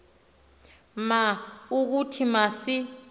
ma ukuthi masi